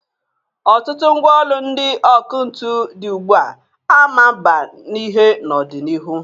Ọtụtụ mgwa ọlụ ndị ọkụ ntụ dị ugbua a ma mba n'ihe n'ọ dị n'iru.